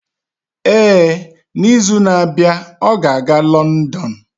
Ee, n'izu na-abịa, ọ ga-aga Lọndon.